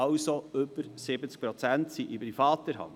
Also sind über 70 Prozent in privater Hand.